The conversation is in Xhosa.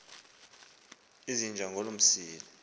izinja ngaloo msila